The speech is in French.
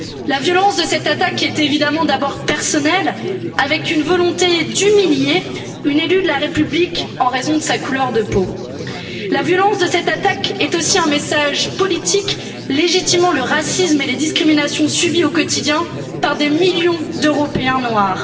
La violence de cette attaque est évidemment d'abord personnelle, avec une volonté d'humilier une élue de la République en raison de sa couleur de peau, mais elle est aussi un message politique légitimant le racisme et les discriminations subis au quotidien par des millions d'Européens noirs.